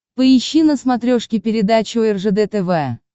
поищи на смотрешке передачу ржд тв